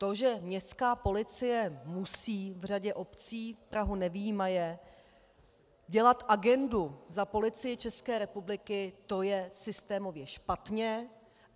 To, že městská policie musí v řadě obcí, Prahu nevyjímaje, dělat agendu za Policii České republiky, to je systémově špatně.